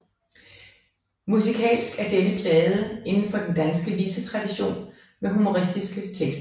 Musikalsk er denne plade inden for den danske visetradition med humoristiske tekster